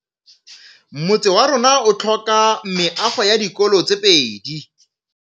Motse warona o tlhoka meago ya dikolô tse pedi.